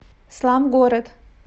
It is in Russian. славгород